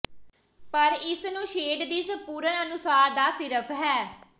ਪਰ ਇਸ ਨੂੰ ਸ਼ੇਡ ਦੀ ਸੰਪੂਰਣ ਅਨੁਸਾਰ ਨਾ ਸਿਰਫ ਹੈ